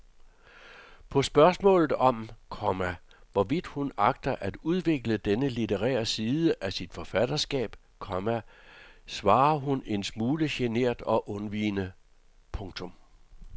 På spørgsmålet om, komma hvorvidt hun agter at udvikle denne litterære side af sit forfatterskab, komma svarer hun en smule genert og undvigende. punktum